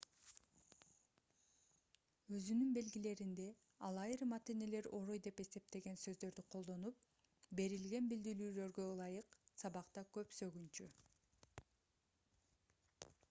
өзүнүн белгилеринде ал айрым ата-энелер орой деп эсептеген сөздөрдү колдонуп берилген билдирүүлөргө ылайык сабакта көп сөгүнчү